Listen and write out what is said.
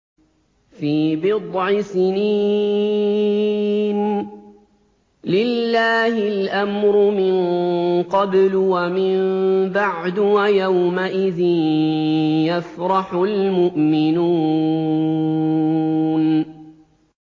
فِي بِضْعِ سِنِينَ ۗ لِلَّهِ الْأَمْرُ مِن قَبْلُ وَمِن بَعْدُ ۚ وَيَوْمَئِذٍ يَفْرَحُ الْمُؤْمِنُونَ